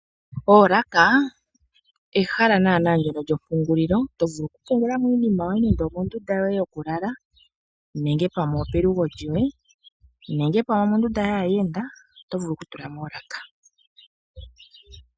Oolaka ehala naana ndyono lyompungililo to vulu okupungula mo iinima yoye nenge omondunda yoye yokulala nenge pamwe opelugo lyoye nenge pamwe opelugo lyoye nenge pamwe omondunda yaayenda. Oto vulu okutula mo oolaka.